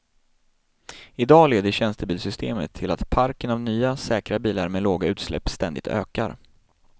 I dag leder tjänstebilssystemet till att parken av nya, säkra bilar med låga utsläpp ständigt ökar.